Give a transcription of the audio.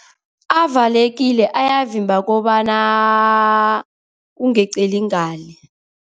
Avalekile, uyavimba kobana kungeqeli ngale.